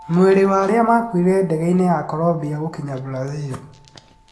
Mwĩrĩ wa arĩa makuire ndege-inĩ ya Colombia gũkinya Brazil